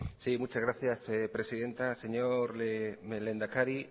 sí muchas gracias presidenta señor lehendakari